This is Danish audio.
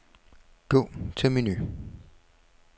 Gå til menu.